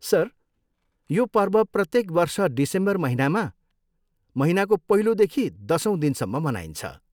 Sir, यो पर्व प्रत्येक वर्ष डिसेम्बर महिनामा महिनाको पहिलोदेखि दसौँ दिनसम्म मनाइन्छ।